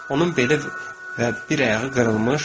Onun beli və bir ayağı qırılmış.